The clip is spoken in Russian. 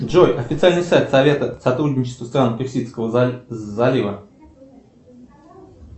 джой официальный сайт совета сотрудничества стран персидского залива